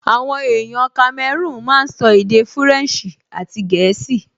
Àwọn èèyàn kamẹrúùn máa n sọ èdè fúrẹ̀nsì àti gẹ̀ẹ́sì